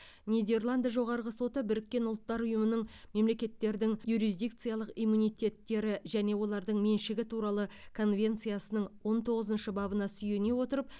нидерланд жоғарғы соты біріккен ұлттар ұйымының мемлекеттердің юрисдикциялық иммунитеттері және олардың меншігі туралы конвенциясының он тоғызыншы бабына сүйене отырып